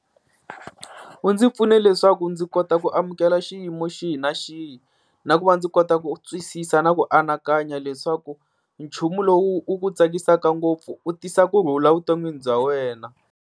U ndzi pfune leswaku ndzi kota ku amukela xiyimo xihi na xihi, na ku va ndzi kota ku twisisa na ku anakanya leswaku nchumu lowu u ku tsakisaka ngopfu u tisa kurhula vuton'wini bya wena.